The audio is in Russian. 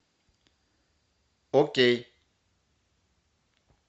окей